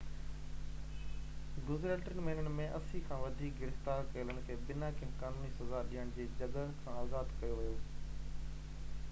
گذريل 3 مهينن ۾ 80 کان وڌيڪ گرفتار ڪيلن کي بنا ڪنهن قانوني سزا ڏيڻ جي جڳهه کان آزاد ڪيو ويو